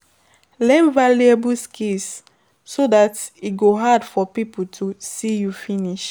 Learn valuable skill so dat e go hard for pipo to see us finish